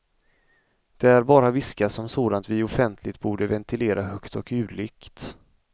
Där bara viskas om sådant vi offentligt borde ventilera högt och ljudligt.